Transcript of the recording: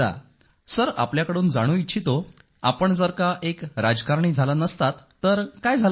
मी आपल्याकडून जाणू इच्छितो आपण जर का एक राजकारणी झाला नसतात तर काय झाला असता